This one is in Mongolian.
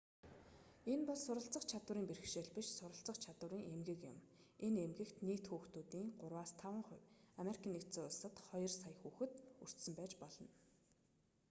энэ бол суралцах чадварын бэрхшээл биш суралцах чадварын эмгэг юм энэ эмгэгт нийт хүүхдүүдийн 3-5 хувь ану-д хоёр сая хүүхэд өртсөн байж болно